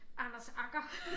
Anders Agger